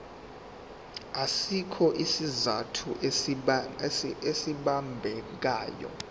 asikho isizathu esibambekayo